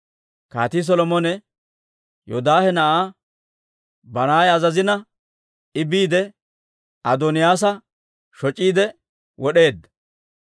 Kaatii Solomone Yoodaahe na'aa Banaaya azazina, I biide Adooniyaasa shoc'iide wod'eedda.